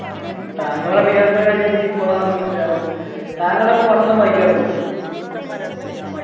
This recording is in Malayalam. താങ്കൾ അറിയാത്ത കാര്യം എനിക്കിപ്പോളാണ് മനസിലാവുന്നെ താങ്കളപ്പൊ പത്രം വായിക്കാറുണ്ടോ